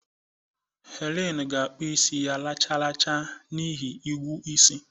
Helen ga-akpụ isi ya racharacha n'ihi ịgwụ isi.